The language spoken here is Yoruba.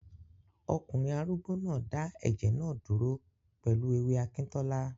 Ọkùnrin arúgbó náà dá ẹ̀jẹ̀ náà dúró pẹ̀lú ewé akíntọ́lá